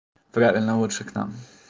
правильно лучше к нам